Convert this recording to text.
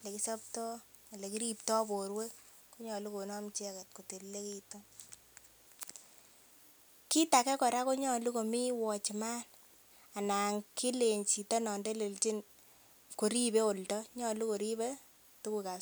elekisoptoo, elekiriptoo borwek konyolu konom icheket kotililekitun. Kit age kora konyolu komii watchman ana kilenen chito non telelnjin koribe oldo nyolu koribe tuguk